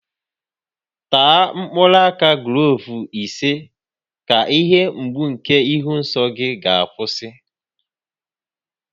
Taa mkpụrụ aka gloovu ise ka ihe mgbu nke ịhụ nsọ gị ga-akwụsị